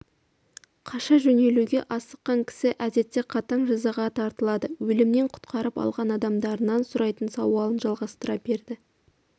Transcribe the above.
қаша жөнелуге асыққан кісі әдетте қатаң жазаға тартылады өлімнен құтқарып алған адамдарынан сұрайтын сауалын жалғастыра берді